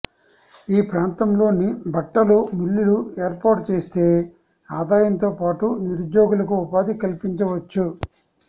ఈ ప్రాంతంలోని బట్టల మిల్లులు ఏర్పాటు చేస్తే ఆదాయంతో పాటు నిరుద్యోగులకు ఉపాధి కల్పించవచ్చు